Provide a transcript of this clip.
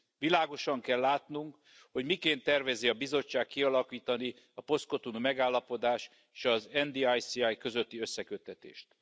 Világosan kell látnunk, hogy miként tervezi a Bizottság kialakítani a Post Cotonui Megállapodás és az NDICI közötti összeköttetést.